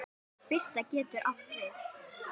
Birta getur átt við